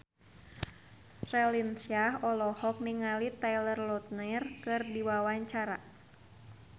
Raline Shah olohok ningali Taylor Lautner keur diwawancara